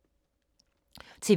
TV 2